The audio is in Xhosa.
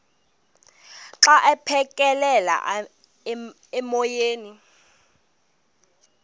xa aphekela emoyeni